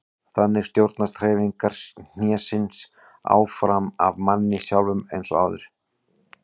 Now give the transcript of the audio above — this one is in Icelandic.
Þannig stjórnast hreyfingar hnésins áfram af manni sjálfum eins og áður.